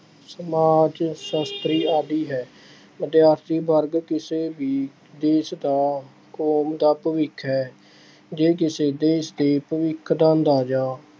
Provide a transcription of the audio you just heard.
ਸਮਾਜ ਸਾਸ਼ਤਰੀ ਆਦਿ ਹੈ। ਵਿਦਿਆਰਥੀ ਵਰਗ ਕਿਸੇ ਵੀ ਦੇਸ਼ ਦਾ, ਕੌਮ ਦਾ ਭਵਿੱਖ ਹੈ। ਜੇ ਕਿਸੇ ਦੇਸ਼ ਦੇ ਭਵਿੱਖ ਦਾ ਅੰਦਾਜ਼ਾ